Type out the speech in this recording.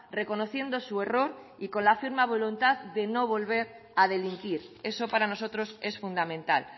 reconociendo su error y con la firme voluntad de no volver a delinquir eso para nosotros es fundamental